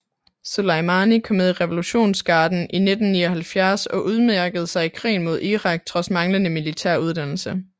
Soleimani kom med i revolutionsgarden i 1979 og udmærkede sig i krigen mod Irak trods manglende militær uddannelse